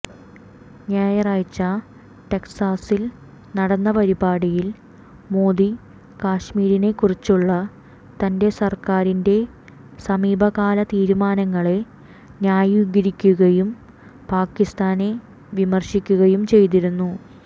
ഞായറാഴ്ച ടെക്സാസിൽ നടന്ന പരിപാടിയിൽ മോദി കശ്മീരിനെക്കുറിച്ചുള്ള തൻറെ സർക്കാരിൻറെ സമീപകാല തീരുമാനങ്ങളെ ന്യായീകരിക്കുകയും പാകിസ്ഥാനെ വിമർശിക്കുകയും ചെയ്തിരുന്നു